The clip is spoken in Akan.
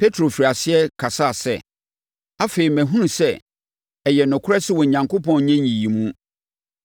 Petro firii aseɛ kasaa sɛ, “Afei, mahunu sɛ, ɛyɛ nokorɛ sɛ, Onyankopɔn nyɛ nyiyimu,